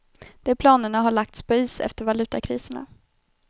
De planerna har lagts på is efter valutakriserna.